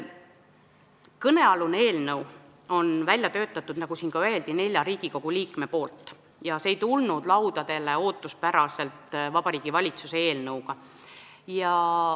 Kõnealuse eelnõu on välja töötanud, nagu siin öeldi, neli Riigikogu liiget, see ei tulnud meie laudadele ootuspäraselt Vabariigi Valitsuse eelnõuna.